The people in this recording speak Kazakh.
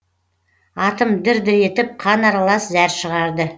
атым дір дір етіп қан аралас зәр шығарды